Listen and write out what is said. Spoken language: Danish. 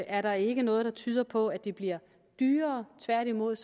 er der ikke noget der tyder på at det bliver dyrere tværtimod